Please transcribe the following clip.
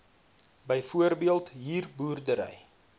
byvoorbeeld huur boerdery